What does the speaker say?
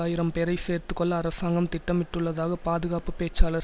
ஆயிரம் பேரை சேர்த்து கொள்ள அரசாங்கம் திட்டமிட்டுள்ளதாக பாதுகாப்பு பேச்சாளர்